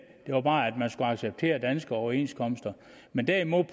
var bare at man skulle acceptere danske overenskomster men derimod